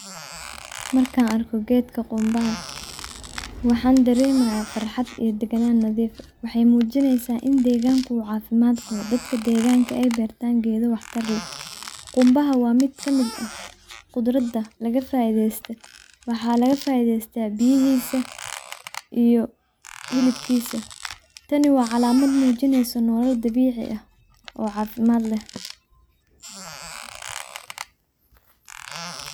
Markaa arkoo gedkaa qunbaaha waxan daremayaa farxaad iyo deganaan nadiif aah. waxey muujineysa iin degaankuu uu cafimaad qaabo dadkaa degaanka ey bertaan geeda waax taar leeh. quunbaha waa miid kamiid aah qudrataa lagaa faideystoo waxa lagaa faiideysta biyihiisa iyo hilibkiisa taani waa calamaad muujineyso nolool dabicii aah oo cafimaad leh.